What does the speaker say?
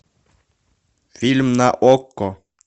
фильм на окко